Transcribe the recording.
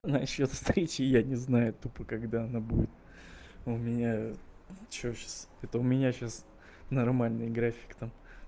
насчёт встречи я не знаю тупо когда она будет у меня что сейчас это у меня сейчас нормальный график там